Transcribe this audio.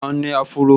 Mo máa n ní áfúró